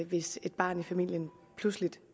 hvis et barn i familien pludselig